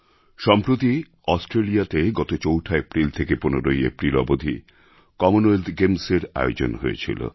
সম্প্রতি অস্ট্রেলিয়াতে গত চৌঠা এপ্রিল থেকে ১৫ই এপ্রিল অবধি কমনওয়েলথ গেমস্এর আয়োজন হয়েছিল